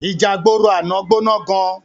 Íjá igbóró àná gbóná gán